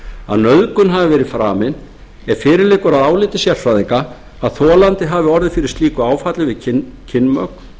að nauðgun hafi verið framin ef fyrir liggur að áliti sérfræðinga að þolandi hafi orðið fyrir slíku áfalli við kynmök